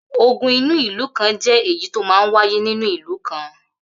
Ogun inú ìlú kan jẹ́ èyí tó máa ń wáyé nínú ìlú kan.